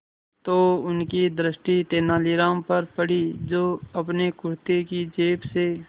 तो उनकी दृष्टि तेनालीराम पर पड़ी जो अपने कुर्ते की जेब से